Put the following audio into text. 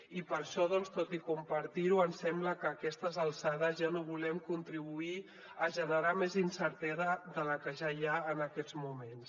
i per això doncs tot i compartir ho ens sembla que a aquestes alçades ja no volem contribuir a generar més incertesa de la que ja hi ha en aquests moments